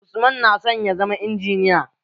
Usman na son ya zama injiniya.